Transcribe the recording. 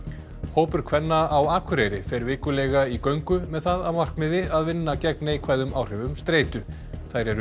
hópur kvenna á Akureyri fer vikulega í göngu með það að markmiði að vinna gegn neikvæðum áhrifum streitu þær eru